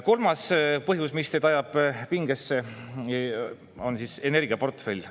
Kolmas põhjus, mis teid ajab pingesse, on energiaportfell.